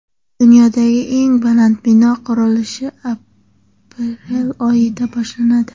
Dunyodagi eng baland bino qurilishi aprel oyida boshlanadi.